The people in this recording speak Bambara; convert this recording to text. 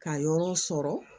Ka yɔrɔ sɔrɔ